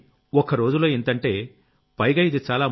కానీ ఒక్కరోజులో ఇంతంటే పైగా ఇది చాలా